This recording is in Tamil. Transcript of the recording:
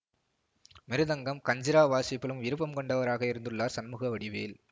மிருதங்கம் கஞ்சிரா வாசிப்பிலும் விருப்பம் கொண்டவராக இருந்துள்ளார் சண்முக வடிவேல்